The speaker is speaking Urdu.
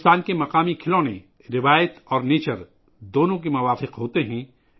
بھارت کے مقامی کھلونے ماحول دوست ہیں، روایت اور فطرت دونوں کے مطابق ہیں